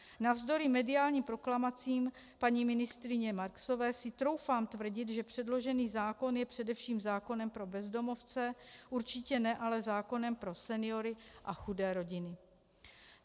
Navzdory mediálním proklamacím paní ministryně Marksové si troufám tvrdit, že předložený zákon je především zákonem pro bezdomovce, určitě ne ale zákonem pro seniory a chudé rodiny.